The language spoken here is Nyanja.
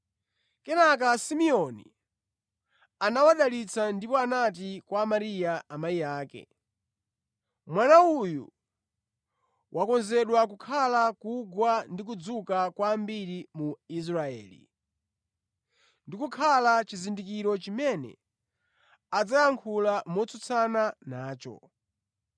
Kenaka Simeoni anawadalitsa ndipo anati kwa Mariya amayi ake: “Mwana uyu wakonzedwa kukhala kugwa ndi kudzuka kwa ambiri mu Israeli, ndi kukhala chizindikiro chimene adzayankhula motsutsana nacho,